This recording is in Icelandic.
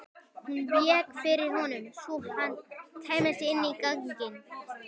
Hún vék fyrir honum svo hann kæmist inn í ganginn.